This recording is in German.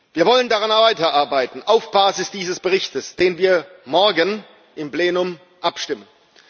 Wir wollen daran weiterarbeiten auf Basis dieses Berichts, über den wir morgen im Plenum abstimmen.